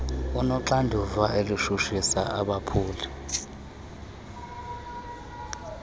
unoxanduva lokutshutshisa abaphuli